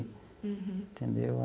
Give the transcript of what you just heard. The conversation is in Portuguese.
Entendeu?